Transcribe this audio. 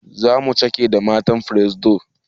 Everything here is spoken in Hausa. Zamuyi cake da botan firesido